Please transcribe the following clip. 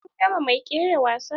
Kin ga mai kera wasa?